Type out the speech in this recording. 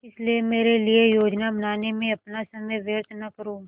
इसलिए मेरे लिए योजनाएँ बनाने में अपना समय व्यर्थ न करो